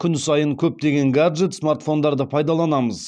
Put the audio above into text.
күн сайын көптеген гаджет смартфондарды пайдаланамыз